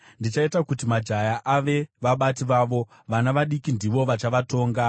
Ndichaita kuti majaya ave vabati vavo; vana vadiki ndivo vachavatonga.